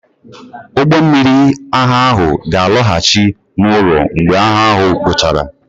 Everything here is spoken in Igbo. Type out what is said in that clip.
Ụgbọ mmiri agha ahụ ga-alọghachi n'ụlọ mgbe agha ahụ guchara.